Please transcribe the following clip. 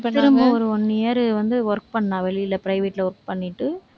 திரும்ப ஒரு one year வந்து work பண்ணா வெளியில, private ல work பண்ணிட்டு.